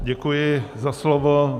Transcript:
Děkuji za slovo.